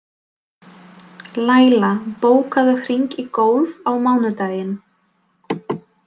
Læla, bókaðu hring í golf á mánudaginn.